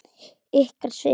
Ykkar, Sif.